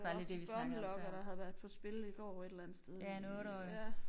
Der var også en børnelokker der havde været på spil i går et eller andet sted ja